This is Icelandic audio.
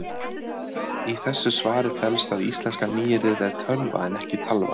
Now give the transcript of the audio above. Í þessu svari felst að íslenska nýyrðið er tölva en ekki talva.